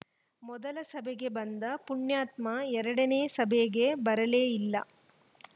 ಮೊದಲ ಸಭೆಗೆ ಬಂದ ಪುಣ್ಯಾತ್ಮ ಎರಡನೇ ಸಭೆಗೆ ಬರಲೇ ಇಲ್ಲ